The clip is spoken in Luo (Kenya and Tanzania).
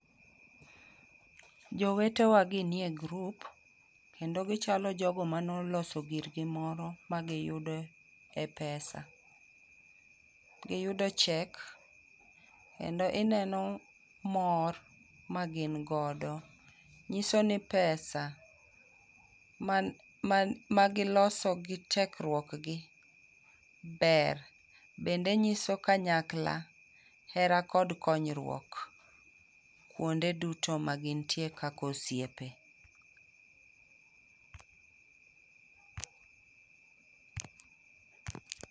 Jowete wa gi ni e group kendo gichalo jogo mane oloso girgi moro ma giyudo e pesa. Giyudo cheque, kendo ineno mor ma gin godo. Nyiso ni pesa man man magiloso gi tekruok gi ber, bende nyiso kanyakla hera kod konyruok kuonde duto ma gintie kaka osiepe.